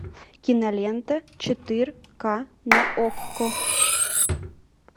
кинолента четыре ка на окко